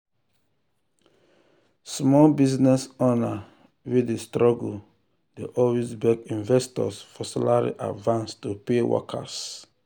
small business owner wey dey struggle dey always beg investors for salary advance to pay workers